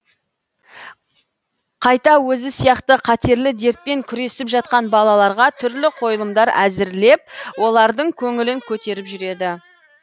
қайта өзі сияқты қатерлі дертпен күресіп жатқан балаларға түрлі қойылымдар әзірлеп олардың көңілін көтеріп жүреді